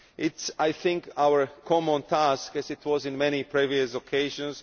It is, I think, our common task as it was on many previous occasions